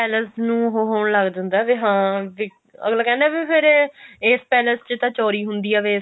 palace ਨੂੰ ਉਹ ਹੋਣ ਲੱਗ ਜਾਂਦਾ ਵੀ ਹਾਂ ਵੀ ਅਗਲਾ ਕਹਿੰਦਾ ਵੀ ਫੇਰ ਇਹ ਇਸ palace ਚ ਤਾਂ ਚੋਰੀ ਹੁੰਦੀ ਏ